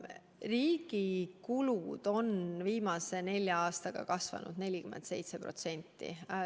Riigi kulud on viimase nelja aastaga kasvanud 47%.